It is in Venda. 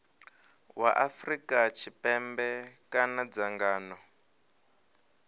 wa afrika tshipembe kana dzangano